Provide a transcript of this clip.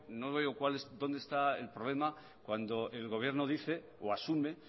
no veo dónde está el problema cuando el gobierno dice o asume